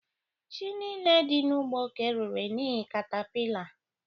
Ji niile dị n'ugbo ka ererela n'ihi capillar